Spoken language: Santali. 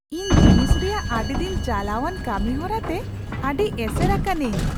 ᱤᱧ ᱡᱤᱱᱤᱥ ᱨᱮᱭᱟᱜ ᱟᱹᱰᱤ ᱫᱤᱱ ᱪᱟᱞᱟᱣᱟᱱ ᱠᱟᱹᱢᱤ ᱦᱚᱨᱟᱛᱮ ᱟᱹᱰᱤ ᱮᱥᱮᱨ ᱟᱠᱟᱱᱟ.ᱧ ᱾